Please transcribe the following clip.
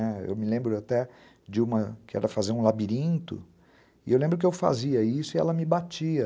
Ah, eu me lembro até de uma que era fazer um labirinto, e eu lembro que eu fazia isso e ela me batia.